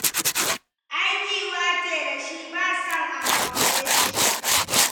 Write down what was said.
Ai ƙiuya ce da shi, ba son a more shi.